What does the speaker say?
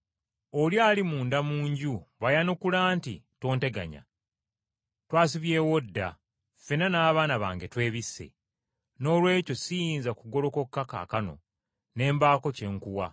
“Oli ali munda mu nju bw’ayanukula nti, ‘Tonteganya. Twasibyewo dda, ffenna n’abaana bange twebisse. Noolwekyo siyinza kugolokoka kaakano ne mbaako kye nkuwa.’